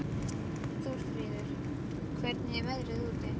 Þórfríður, hvernig er veðrið úti?